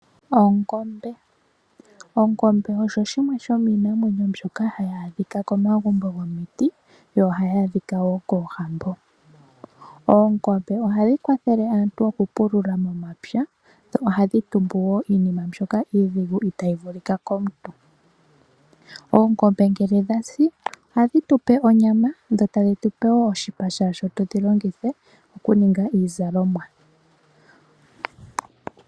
Ongombe. Ongombe osho shimwe shomiinamwenuo mbyoka hayi adhika komagumbo gomiti dho ohadhi adhika woo koohambo Oongombe ohadhi kwathele aantu oku pulula momapya dho ohadhi tumbe woo iinima mbyoka itayi vulika komuntu . Oongombe ngele dhasi ohadhi tupe onyama dho tadhi tupe woo oshipa sho tadhi longithwa okuninga iizalomwa